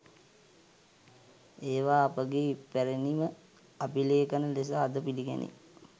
ඒවා අපගේ ඉපැරණි ම අභිලේඛන ලෙස අද පිළිගැනේ.